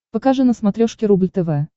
покажи на смотрешке рубль тв